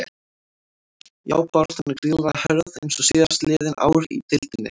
Já baráttan er gríðarlega hörð eins og síðastliðin ár í deildinni.